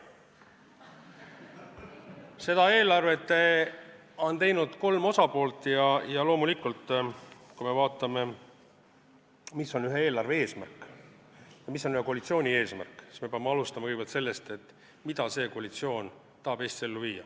Seda eelarvet on teinud kolm osapoolt ja loomulikult, kui me vaatame, mis on ühe eelarve eesmärk ja mis on ühe koalitsiooni eesmärk, siis me peame alustama kõigepealt sellest, mida see koalitsioon tahab Eestis ellu viia.